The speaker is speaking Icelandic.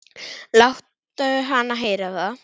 Láttu hana heyra það